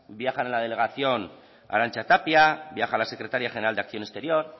viaja en la delegación arantxa tapia viaja la secretaria general de acción exterior